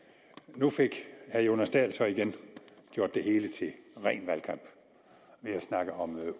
nu fik herre jonas dahl så igen gjort det hele til ren valgkamp ved at snakke om